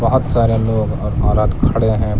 बहुत सारे लोग और औरत खड़े हैं।